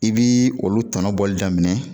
I bi olu tɔnɔ bɔli daminɛ